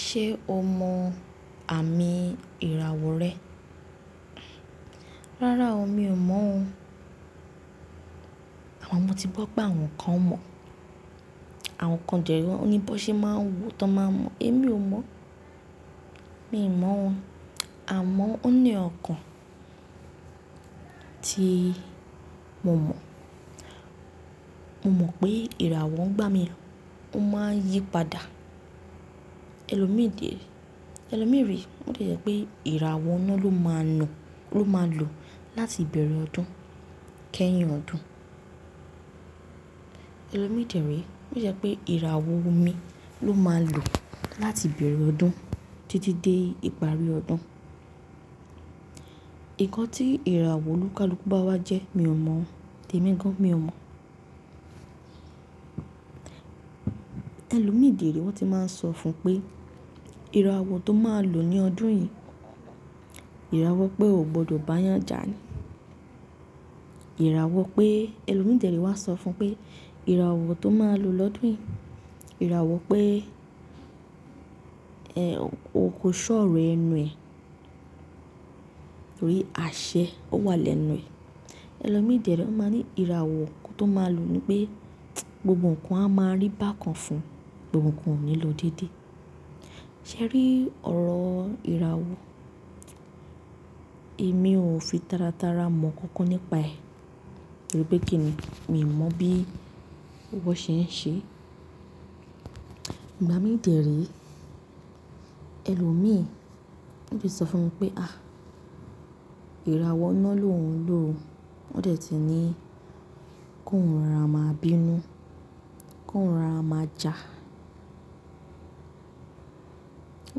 Ṣé o mọ àmì ìràwọ̀ rẹ? Rárá o, mi ò mọ̀ o. Àmo mọ ti gbọ́ pé àwọn kan mọ̀, àwọn kan dẹ́ re, o ní bọ́ ṣe máa ń wò tó máa mọ̀. Èmi ò mọ̀. Mi ò mọ̀ o. Àmọ́ ó ní n nkàn tí mo mọ̀. Mo mọ̀ pé ìràwọ̀ ń igbá mi, o máa ń yí padà. Ẹ̀lòmíìde, ẹlòmíre o le jẹ́ pé ìràwọ̀ náà ló máa ń lọ, ló máa ń lò láti ìbẹ̀rẹ̀ ọdún kẹ́yìn ọdún. Ẹ̀lòmíi dẹ́ ré ìràwọ̀ omi ló máa ń lò láti ìbẹ̀rẹ̀ ọdún títí dé ìparí ọdún. Ìkan tí ìràwọ̀ olúkalúkù bá wá jẹ́, mi ò mọ̀ ọ́. Tèmí gan mi ò mọ̀ ọ́. Ẹ̀lòmíi dẹ́ re wọ́n ti máa ń sọ fún pé ìràwọ̀ tó máa lò ní ọdún yìí, ìràwọ̀ pé o gbọdọ̀ bá yànjà ni. Ìràwọ̀ pé, ẹlòmíi dẹ́ re wá sọ fún pé ìràwọ̀ tó máa lò lọ́dún yìí, ìràwọ̀ pé, ẹ́, o kò ṣọ́ oro ẹnu ẹ. Torí àṣẹ ó wà lẹ́nu ẹ. Ẹ̀lòmíi de re wọ́n máa ń ní ìràwọ̀ tó máa lò ni pé gbogbo ǹkan a máa rí bákan fún, gbogbo ǹkan ò ní lọ dédé. Ṣé rí ọ̀rọ̀ ìràwọ̀ Èmi ò fi tára tára mọ̀ kankan nípa ẹ̀. Torí pé kí ni, mi ò mọ̀ bí wọ́n ṣe ń ṣe. Ìgbà mí dẹ́ re, ẹlòmíì wọ́n ti sọ fún mi pé à, ìràwọ̀ ina ló ń lò. Wọ́n dẹ̀ ti ní kó ń rọra máa bínú, kó ń rọra máa jà.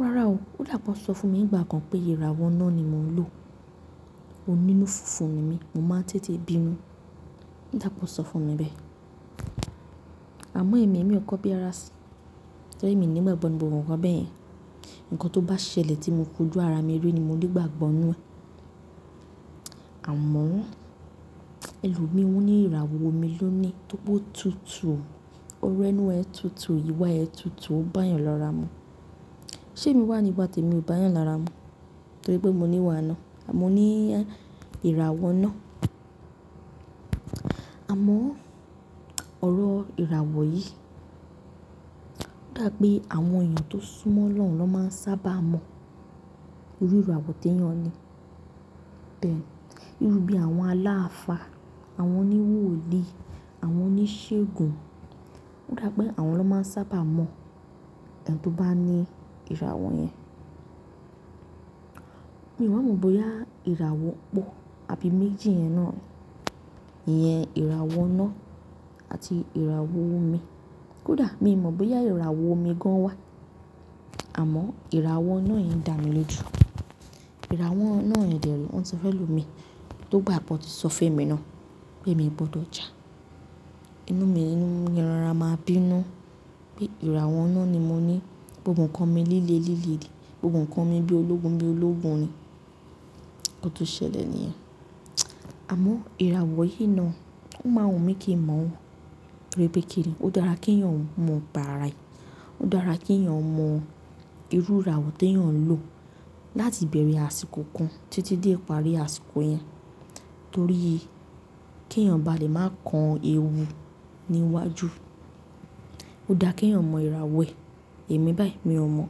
Rárá o, ó dà pe won sọ fún mi nìgbà kan pé ìràwọ̀ ina ni mò ń lò. Onínú funfun ni mí, mo máa ń tètè bínú. Ó dà pe won sọ fún mi bẹ́ẹ̀. Àmọ́ èmi ò kọ́ bí ara sí. Torí mi o ni ìgbàgbọ́ nínu gbogbo ǹkan bẹ́ẹ̀ yẹn. Ǹkan tó bá ṣẹlẹ̀ tí mo foju ara mi rí ni mo ni igbàgbọ́ ńú ẹ. Àmọ́ ẹlòmíì wọ́n ní ìràwọ̀ omi ló ni tó pe o tutù. Orẹ ẹnu ẹ tutù, ìwà ẹ tutù, ó bá yàn lọra mu. Ṣé mi wà ní ìwa tèmi ò bá yàn lọra mu? Torí pé mo níwà ina. Mọ́ ní ìràwọ̀ ina Àmọ́ ọ̀rọ̀ ìràwọ̀ yìí, ó dà pé àwọn èèyàn tó súnmọ́ Ọlọ́run ló máa ń sábà mọ̀. Iru ìràwọ̀ tí èèyàn ní. Beeni, irú bí àwọn aláàfá, àwọn oníwòòlí, àwọn oníṣègùn, ó dà pé àwọn ló máa ń sábà mọ̀ ẹ̀ni tó bá ní ìràwọ̀ yẹn. Mi ò mọ̀ bóyá ìràwọ̀ pọ̀ àbí méjì yẹn náà ni, iyen ìràwọ̀ ina àti ìràwọ̀ omi. Kodà, mi ò mọ̀ bóyá ìràwọ̀ omi gan wà. Àmọ́ ìràwọ̀ ina yẹn dà mi lojù. Ìràwo ina yen dẹ́ re, wọ́n ti fẹ́ lomi. Tó gbà pe won ti sọ fun emi náà pé mi ò gbọdọ̀ jà. Inú mi, kiń rọra máa bínú pé ìràwọ̀ ina ni mo ní. Gbogbo ǹkan mi líle líle ni. Gbogbo ǹkan mi bí ológun bí ológun ni nkan tó ṣẹlẹ̀ níyẹn. Àmọ́ ìràwọ̀ yìí náà, ó máa wùn mí kíń mọ̀ ọ́. Torí pé kí ni, ó dára kí ẹ̀yàn mọ̀ nipa ara e Ó dára kí ẹ̀yàn mọ ìrú ìràwọ̀ tí ẹ̀yàn ń lò láti ìbẹ̀rẹ̀ àsìkò kan títí dé ìparí àsìkò yẹn. Torí kí ẹ̀yàn ba lè máa kan ewu níwájú. Ó dà kí ẹ̀yàn mọ ìràwọ̀ ẹ. Èmi báyìí mi ò mọ̀.